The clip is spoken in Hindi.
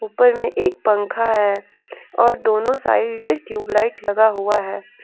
ऊपर में एक पंखा है और दोनों साइड ट्यूब लाइट लगा हुआ है।